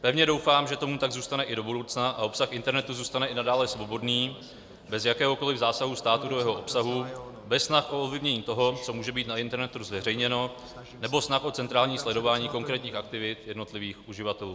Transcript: Pevně doufám, že tomu tak zůstane i do budoucna a obsah internetu zůstane i nadále svobodný, bez jakéhokoliv zásahu státu do jeho obsahu, bez snah o ovlivnění toho, co může být na internetu zveřejněno, nebo snah o centrální sledování konkrétních aktivit jednotlivých uživatelů.